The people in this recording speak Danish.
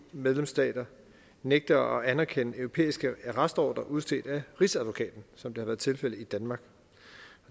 medlemsstater nægter at anerkende europæiske arrestordrer udstedt af rigsadvokaten som det har været tilfældet i danmark